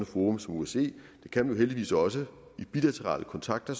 forum som osce det kan man heldigvis også ved bilaterale kontakter